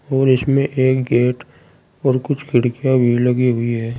और इस में एक गेट और कुछ खिड़कियां भी लगी हुई है।